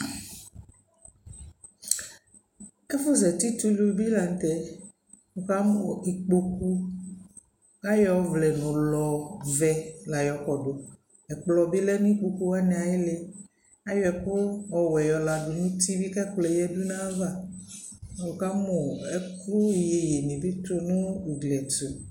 ɛfʋ zati tʋ ʋlʋ bi lantɛ, wɔ kamʋ ikpɔkʋ ayɔ ɔvlɛ nɔlɔ vɛɛ la yɔkɔdʋ, ɛkplɔ bi lɛnʋ ikpɔkʋ wani ayili, ayɔ ɛkʋ ɔwɛ yɔ ladʋ nʋ ʋti bi kʋ ɛkplɔɛ yadʋ nʋ aɣa, wʋkamʋ ɛkʋ yɛyɛɛ bi nʋ ʋgli ɛtʋ